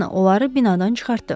Janna onları binadan çıxartdı.